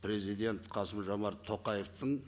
президент қасым жомарт тоқаевтың